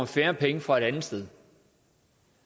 færre penge fra et andet sted